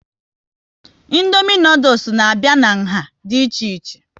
Indomie noodules n'abia n'nha dị ichè ichè